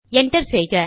enter செய்க